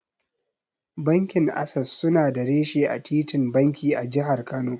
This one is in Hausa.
Bankin Ases suna da reshe a titin banki, a Jihar Kano.